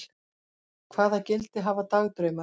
Hvaða gildi hafa dagdraumar?